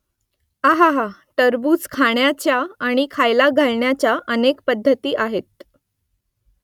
अहाहा टरबूज खाण्याच्या आणि खायला घालण्याच्या अनेक पद्धती आहेत